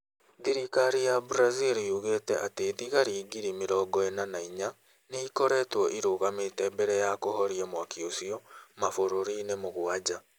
Thirikari ya Brazil yugĩte atĩ thigari giri mĩrogo ĩna na inya nĩ ikoretwo irũgamĩte mbere ya kũhoria mwaki ũcio mabũrũri-inĩ mũgwanja.